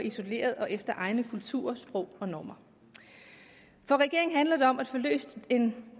isoleret og efter egne kulturer sprog og normer for regeringen handler det om at få løst den